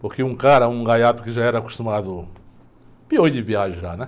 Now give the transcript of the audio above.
Porque um cara, um gaiato que já era acostumado... Peões, de viajar, né?